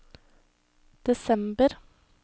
desember